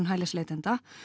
hælisleitenda